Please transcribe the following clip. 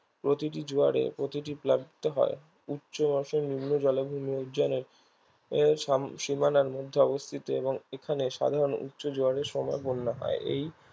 প্রতিটি জোয়ারে প্রতিটি প্লাবিত হয় উচ্চমাসে নিম্ন জলাভূমি ও সীমানার মধ্যে অবস্থিত এবং এখানে সাধারণ উচ্চ জোয়ারের সময় বন্যা হয়